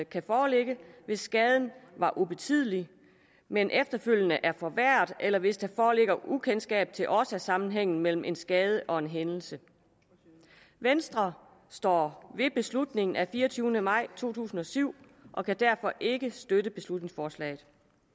kan foreligge hvis skaden var ubetydelig men efterfølgende er forværret eller hvis der foreligger ukendskab til årsagssammenhængen mellem en skade og en hændelse venstre står ved beslutningen af fireogtyvende maj to tusind og syv og kan derfor ikke støtte beslutningsforslaget